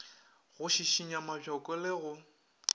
go šišinya mabjoko le go